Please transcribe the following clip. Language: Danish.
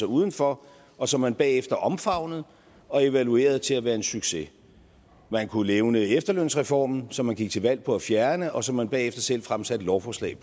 uden for og som man bagefter omfavnede og evaluerede til at være en succes man kunne nævne efterlønsreformen som man gik til valg på at fjerne og som man bagefter selv fremsatte lovforslag